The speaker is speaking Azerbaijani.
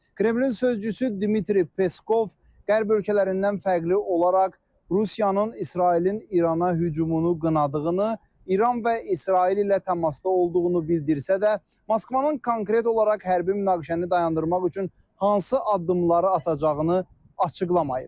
Kremlin sözçüsü Dmitri Peskov Qərb ölkələrindən fərqli olaraq Rusiyanın İsrailin İrana hücumunu qınadığını, İran və İsrail ilə təmasda olduğunu bildirsə də, Moskvanın konkret olaraq hərbi münaqişəni dayandırmaq üçün hansı addımları atacağını açıqlamayıb.